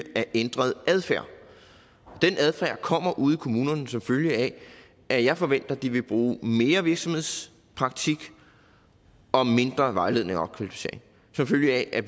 af ændret adfærd den adfærd kommer ude i kommunerne som følge af at jeg forventer at de vil bruge mere virksomhedspraktik og mindre vejledning og opkvalificering som følge af at